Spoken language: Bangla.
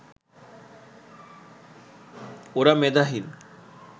ওরা মেধাহীন